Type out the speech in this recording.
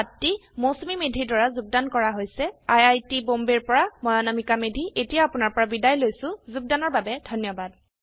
এই পাঠটি মৌচুমী মেধীৰ দ্ৱাৰা যোগদান কৰা হৈছে আই আই টী বম্বে ৰ পৰা মই অনামিকা মৈধি এতিয়া আপুনাৰ পৰা বিদায় লৈছো যোগদানৰ বাবে ধন্যবাদ